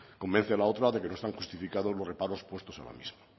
convence a la otra de que no están justificados los reparos puestos en la misma